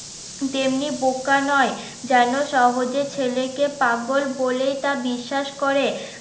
তেমনি বোকা নয় যেন সহজে ছেলেকে পাগল বলেই তা বিশ্বাস করে